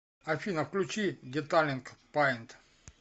афина включи деталинг паинт